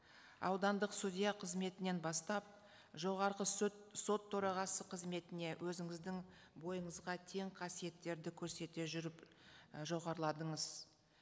аудандық судья қызметінен бастап жоғарғы сот төрағасы қызметіне өзіңіздің бойыңызға тең қасиеттерді көрсете жүріп і жоғарыладыңыз